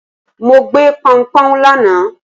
mọ gbé p'oun p'oun lana